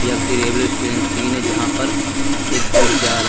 किसी railway station scene है जहां पर एक ब्रिज जा रहा है।